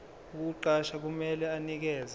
ukukuqasha kumele anikeze